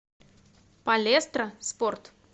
палестра спорт